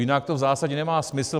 Jinak to v zásadě nemá smysl.